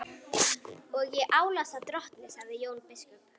Og ég álasa drottni, sagði Jón biskup.